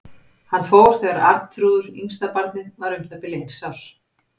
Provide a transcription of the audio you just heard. Hann fór þegar Arnþrúður, yngsta barnið, var um það bil eins árs.